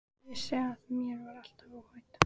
Vissi að mér var alveg óhætt.